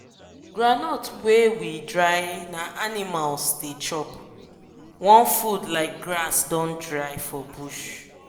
groundnut leave wa we dry na animals the chop wan food like grass don dry for bush